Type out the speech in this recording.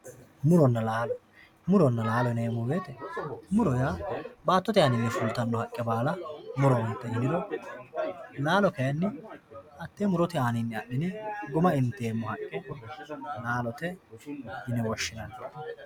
Muronna laallo, muronna laallo yineemo woyitey muro yaa baatotte anninni fulitanno haqqe baala murote yiniro, laallo kayinni hatee murote aanninni adhine guma inteemmo haqe laallote yine woshinanni